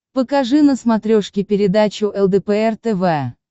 покажи на смотрешке передачу лдпр тв